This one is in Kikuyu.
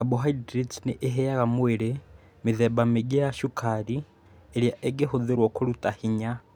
Carbohydrates nĩ iheaga mwĩrĩ mĩthemba mĩingĩ ya cukari ĩrĩa ĩngĩhũthĩrũo kũruta hinya.